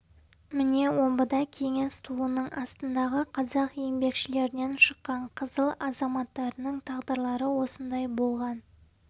міне омбыда кеңес туының астындағы қазақ еңбекшілерінен шыққан қызыл азаматтарының тағдырлары осындай болған